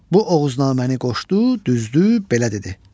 Bu Oğuznaməni qoşdu, düzdü, belə dedi: